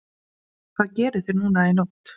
Gísli: Hvað gerið þið núna í nótt?